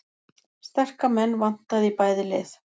Sterka menn vantaði í bæði lið